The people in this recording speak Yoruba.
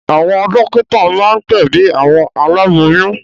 Àwọn dọ́kítá máa ń gbẹ̀bi àwọn aláboyún.